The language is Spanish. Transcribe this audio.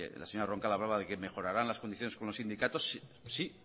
la señora roncal hablaba de que mejorarán las condiciones con los sindicatos sí